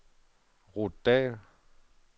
Ruth Dall